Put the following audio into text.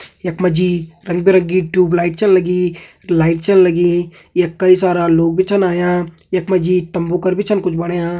यख मा जी रंग बिरंगी ट्यूब लाइट छन लगी लाइट छन लगीं यख कई सारा लोग भी छन आयां यख मा जी एक तम्बू कर छन भी कुछ बण्या।